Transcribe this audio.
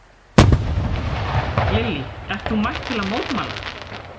Lillý: Ert þú mætt til að mótmæla?